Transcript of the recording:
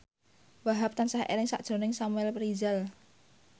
Wahhab tansah eling sakjroning Samuel Rizal